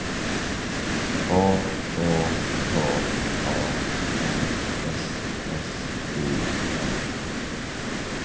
H Å K A N S S O N